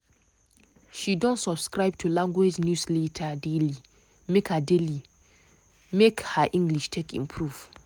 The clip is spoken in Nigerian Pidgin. she don subscribe to language newsletter daily make her daily make her english take improve.